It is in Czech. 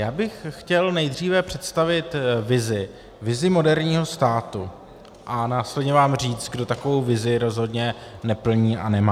Já bych chtěl nejdříve představit vizi, vizi moderního státu, a následně vám říct, kdo takovou vizi rozhodně neplní a nemá.